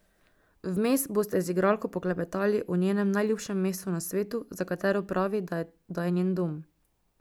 Vmes boste z igralko poklepetali o njenem najljubšem mestu na svetu, za katero pravi, da je njen dom.